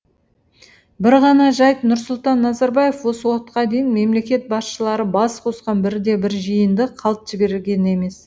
бір ғана жайт нұрсұлтан назарбаев осы уақытқа дейін мемлекет басшылары бас қосқан бірде бір жиынды қалт жіберген емес